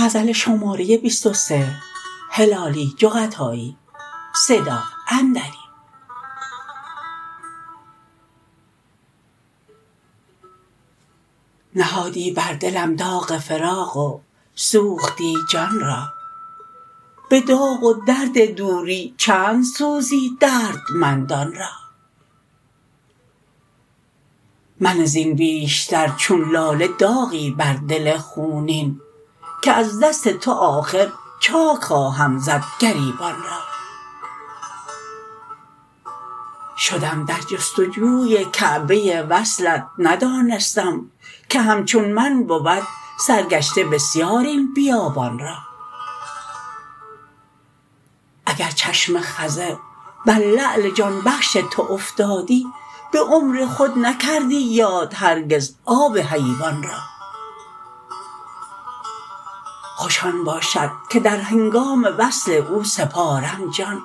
نهادی بر دلم داغ فراق و سوختی جان را بداغ و درد دوری چند سوزی دردمندان را منه زین بیشتر چون لاله داغی بر دل خونین که از دست تو آخر چاک خواهم زد گریبان را شدم در جستجوی کعبه وصلت ندانستم که همچون من بود سر گشته بسیار این بیابان را اگر چشم خضر بر لعل جان بخش تو افتادی بعمر خود نکردی یاد هرگز آب حیوان را خوش آن باشد که در هنگام وصل او سپارم جان